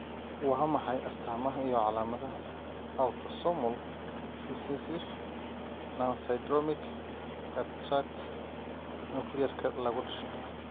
Waa maxay astamaha iyo calamadaha Autosomal recessive nonsyndromic cataract nukliyeerka lagu dhasho?